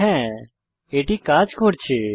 হ্যা এটি কাজ করছে